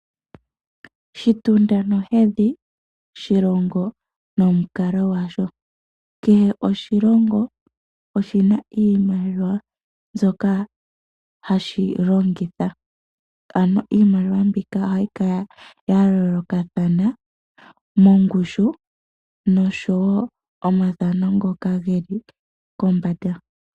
Shitunda nohedhi shilongo nomukalo gwasho, kehe oshilongo oshina iimaliwa mbyoka hashi longitha, ano iimaliwa mbika ohayi kala ya yooloka thana mongushu nosho wo omathano ngoka geli kombanda.